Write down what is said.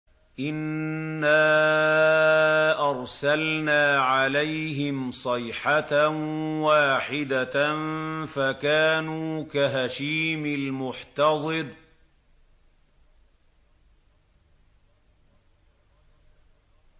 إِنَّا أَرْسَلْنَا عَلَيْهِمْ صَيْحَةً وَاحِدَةً فَكَانُوا كَهَشِيمِ الْمُحْتَظِرِ